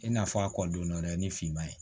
I n'a fɔ a kɔ donna dɛ ni finman ye